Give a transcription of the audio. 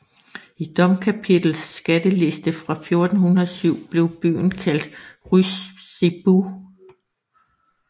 I domkapitels skatteliste fra 1407 blev byen kaldt Rysebu